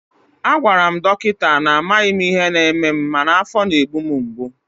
a gwara m dọkịta na amaghị m ihe na-eme m mana afọ na-egbu m mgbu